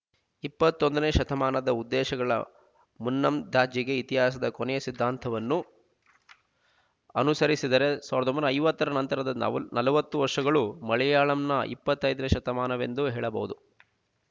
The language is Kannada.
ಇಪ್ಪತ್ತೊಂದನೆ ಶತಮಾನದ ಉದ್ದೇಶಗಳ ಮುನ್ನಂದಾಜಿಗೆ ಇತಿಹಾಸದ ಕೊನೆ ಸಿದ್ಧಾಂತವನ್ನು ಅನುಸರಿಸಿದರೆ ಸಾವಿರದ ಒಂಬೈನೂರ ಐವತ್ತರ ನಂತರದ ನ ನಲವತ್ತು ವರ್ಷಗಳು ಮಲಯಾಳಂನ ಇಪ್ಪತ್ತನೆಯ ಶತಮಾನವೆಂದು ಹೇಳಬಹುದು